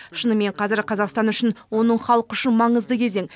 шынымен қазір қазақстан үшін оның халқы үшін маңызды кезең